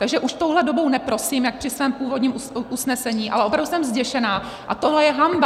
Takže už touhle dobou neprosím jak při svém původním usnesení, ale opravdu jsem zděšena a tohle je hanba!